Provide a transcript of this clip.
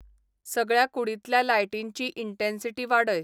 सगळ्या कूडींतल्या लायटींची इंटेन्सीटी वाडय